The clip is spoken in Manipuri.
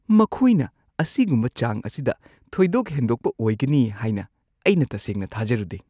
ꯃꯈꯣꯏꯅ ꯑꯁꯤꯒꯨꯝꯕ ꯆꯥꯡ ꯑꯁꯤꯗ ꯊꯣꯏꯗꯣꯛ-ꯍꯦꯟꯗꯣꯛꯄ ꯑꯣꯏꯒꯅꯤ ꯍꯥꯏꯅ ꯑꯩꯅ ꯇꯁꯦꯡꯅ ꯊꯥꯖꯔꯨꯗꯦ꯫